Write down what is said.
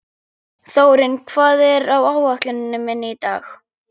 Þórinn, hvað er á áætluninni minni í dag?